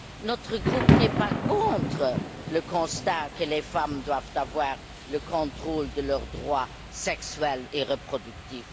Notre groupe n'est pas contre le constat que les femmes doivent avoir le contrôle de leurs droits sexuels et reproductifs.